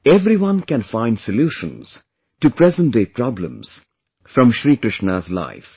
Everyone can find solutions to present day problems from Shri Krishna's life